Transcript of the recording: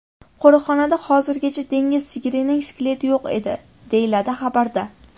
Qo‘riqxonada hozirgacha dengiz sigirining skeleti yo‘q edi”, deyiladi xabarda.